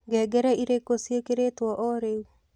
ngengere irikũ cĩĩkĩrĩtwo o riu